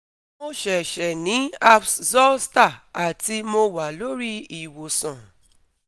Mo se se ni herpes zoster ati mo wa lori iwosan